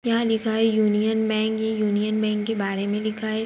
यहां लिखा है यूनियन बैंक ये यूनियन बैंक के बारे मे लिखा है।